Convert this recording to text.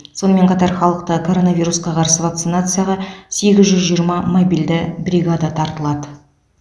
сонымен қатар халықты коронавирусқа қарсы вакцинацияға сегіз жүз жиырма мобильді бригада тартылады